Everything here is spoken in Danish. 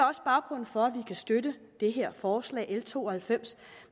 også baggrunden for at vi kan støtte det her forslag l to og halvfems